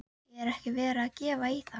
Er ekki verið að gefa í þar?